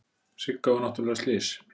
Sigga var náttúrlega slys.